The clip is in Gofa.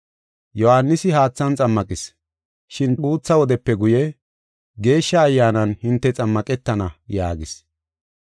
Yohaanisi haathan xammaqis, shin guutha wodepe guye, Geeshsha Ayyaanan hinte xammaqetana” yaagis.